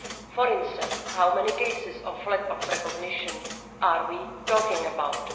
For instance, how many cases of lack of recognition are we talking about?